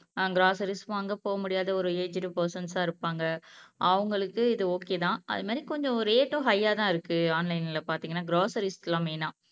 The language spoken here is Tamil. ஆஹ் கிராசரிஸ் வாங்க போக முடியாத ஒரு ஏஜ்டு பெர்சன்ஸா இருப்பாங்க அவுங்களுக்கு இது ஓகே தான். அது மாதிரி கொஞ்சம் ரேட்டும் ஹையா தான் இருக்கு ஆன்லைனில் பாத்தீங்கன்னா கிராசரிஸ்க்குலாம் மெய்னா